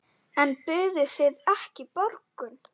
En buðuð þið ekki borgun?